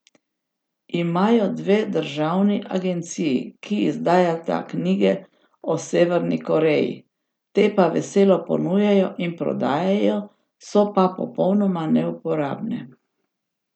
Imajo dve državni agenciji, ki izdajata knjige o Severni Koreji, te pa veselo ponujajo in prodajajo, so pa popolnoma neuporabne.